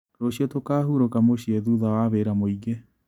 Rũciũ tũkahurũka mũciĩ thutha wa wĩra mũingĩ.